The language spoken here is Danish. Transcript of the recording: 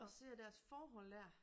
Og ser deres forhold dér